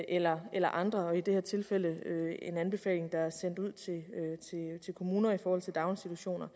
eller eller andre altså i det her tilfælde en anbefaling der er sendt ud til kommuner i forhold til daginstitutioner